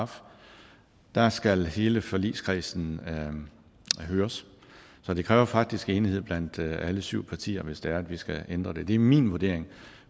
og der skal hele forligskredsen høres så det kræver faktisk enighed blandt alle syv partier hvis det er at vi skal ændre det det er min vurdering